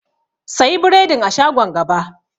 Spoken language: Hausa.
Sayi biredin a shagon gaba.